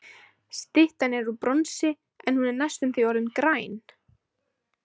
Styttan er úr bronsi, en hún er næstum því orðin græn.